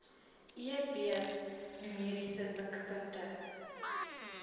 eb numeriese mikpunte